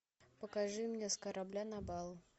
покажи мне с корабля на бал